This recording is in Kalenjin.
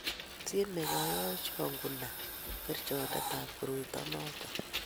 tyemei kanyoikcho kunai kerchondetab koroito noto